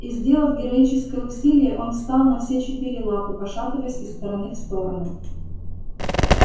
и сделав героическое усилие он встал на все четыре лапы пошатываясь из стороны в сторону